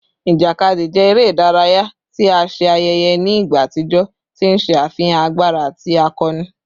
Ijakadi jẹ ere idaraya ti a ṣe ayẹyẹ ni igba atijọ, ti n ṣe afihan agbara ati akọni